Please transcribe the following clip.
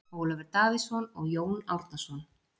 Ólafur Davíðsson og Jón Árnason.